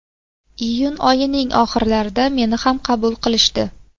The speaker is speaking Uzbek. Iyun oyining oxirlarida meni ham qabul qilishdi.